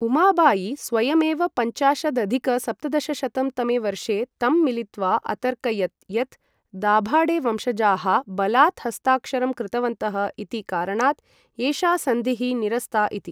उमाबायी स्वयमेव पञ्चाशदधिक सप्तदशशतं तमे वर्षे तं मिलित्वा अतर्कयत् यत्, दाभाडेवंशजाः बलात् हस्ताक्षरं कृतवन्तः इति कारणात् एषा सन्धिः निरस्ता इति।